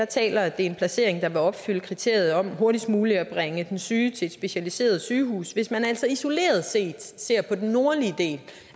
taler at det er en placering der vil opfylde kriteriet om hurtigst muligt at bringe den syge til et specialiseret sygehus hvis man altså isoleret set ser på den nordlige del